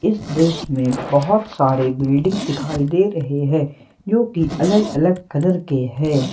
इस दृश्य में बहोत सारे बिल्डिंग दिखाई दे रहे हैं जो की अलग अलग कलर के है।